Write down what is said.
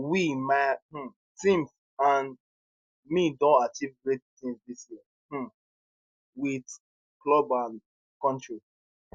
we my um teams and me don achieve great tins dis year um [with] club and kontri